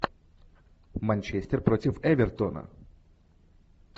манчестер против эвертона